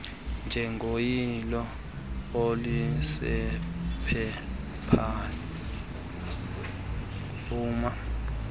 njengoyilo olusephepheni vuma